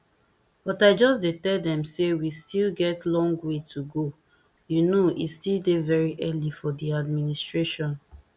but i just dey tell dem say we still get long way to go you know e still dey very early for di administration